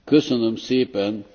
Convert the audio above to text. Panie Przewodniczący!